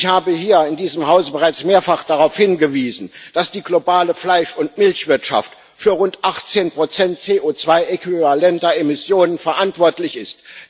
Ich habe hier in diesem Hause bereits mehrfach darauf hingewiesen, dass die globale Fleisch und Milchwirtschaft für rund 18 der in CO2 Äquivalenten berechneten Emissionen verantwortlich ist.